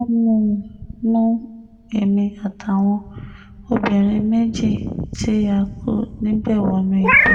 wọ́n mú mú èmi àtàwọn obìnrin méjì tí a kù níbẹ̀ wọnú igbó